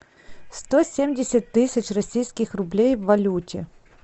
сто семьдесят тысяч российских рублей в валюте